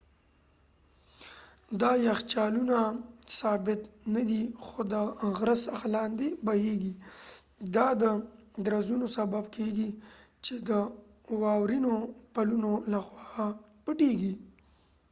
دا یخچالونه ثابت ندي خو د غره څخه لاندې بهیږي دا د درزونو سبب کیږي چې د واورینو پلونو لخوا پټیږي